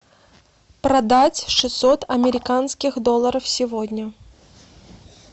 продать шестьсот американских долларов сегодня